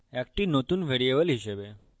একটি নতুন ভ্যারিয়েবল হিসাবে